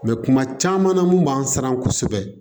Mɛ kuma caman na mun b'an siran kosɛbɛ